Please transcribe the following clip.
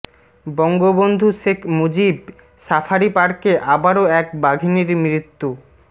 Bangabandhu Sheikh Mujib safari পার্কে আবারো এক বাঘিনীর মৃত্যু